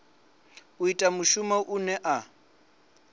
u ita mushumo une a